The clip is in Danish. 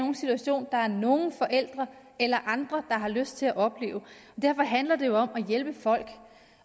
en situation der er nogen forældre eller andre der har lyst til at opleve derfor handler det jo om at hjælpe folk